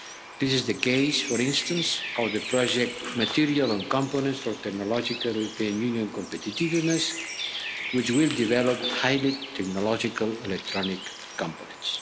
This is the case, for instance, with the project material and components for technological EU competitiveness', which will develop highly technological electronic components.